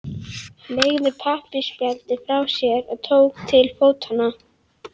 Fleygði pappaspjaldinu frá sér og tók til fótanna.